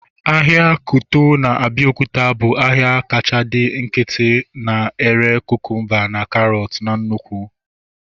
Ahịa Kuto na Abiokuta bụ ahịa kacha dị nkịtị na-ere kukumba na karọt na nnụkwụ